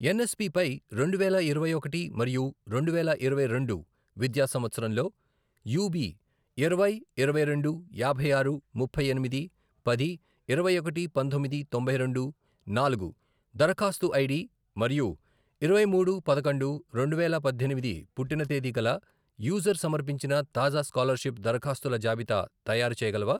NSP పై రెండువేల ఇరవైఒకటి మరియు రెండువేల ఇరవై రెండు విద్యా సంవత్సరంలో యూబీ ఇరవై, ఇరవై రెండు, యాభై ఆరు, ముప్పై ఎనిమిది, పది, ఇరవై ఒకటి, పంతొమ్మిది, తొంభై రెండు, నాలుగు, దరఖాస్తు ఐడి మరియు ఇరవై మూడు పదకొండు రెండువేల పద్దెనిమిది పుట్టిన తేది గల యూజర్ సమర్పించిన తాజా స్కాలర్షిప్ దరఖాస్తుల జాబితా తయారుచేయగలవా?